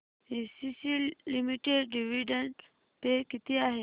ACC limited dividend pay किती आहे